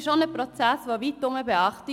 Er findet auch weitherum Beachtung.